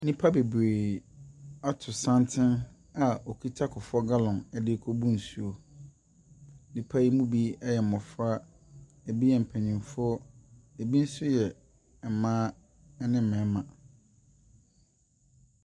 Nnipa bebree ato santene a wɔkita Kuffour gallone derekɔbu nsuo. Nnipa yi bi yɛ mmɔfra, ɛbi tɛ mpanimfoɔ. Ɛbi nso yɛ mmaa ne mmarima.